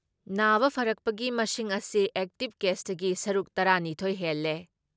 ꯅꯥꯕ ꯐꯔꯛꯄꯒꯤ ꯃꯁꯤꯡ ꯑꯁꯤ ꯑꯦꯛꯇꯤꯞ ꯀꯦꯁꯇꯒꯤ ꯁꯔꯨꯛ ꯇꯔꯥ ꯅꯤꯊꯣꯏ ꯍꯦꯜꯂꯦ ꯫